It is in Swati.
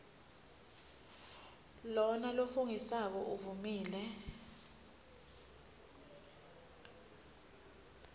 lona lofungisako uvumile